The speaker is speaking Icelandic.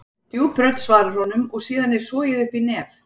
Djúp rödd svarar honum og síðan er sogið upp í nef.